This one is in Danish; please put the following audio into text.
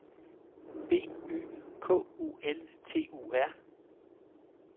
B Y K U L T U R